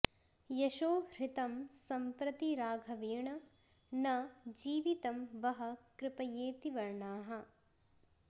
यशो हृतं संप्रति राघवेण न जीवितं वः कृपयेति वर्णाः